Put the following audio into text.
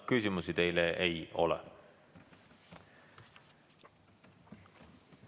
Küsimusi teile ei ole.